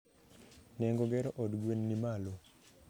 Nengo gero od gwen ni malo